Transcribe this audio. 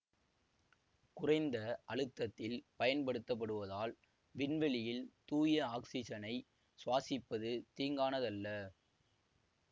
குறைந்த அழுத்தத்தில் பயன்படுத்தபடுவதால் விண்வெளியில் தூய ஆக்சிசனை சுவாசிப்பது தீங்கானதல்ல